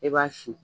E b'a sin